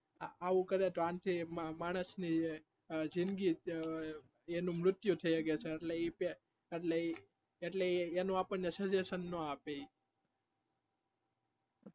આવું કરે તો આનાથી માણાસ ની જિંદગી એનું મૃત્ય થઇ શકે એટલે એ એટલે એ એનું આપણ ને suggestion ના આપે